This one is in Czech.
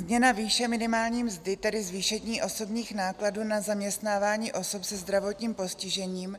Změna výše minimální mzdy, tedy zvýšení osobních nákladů na zaměstnávání osob se zdravotním postižením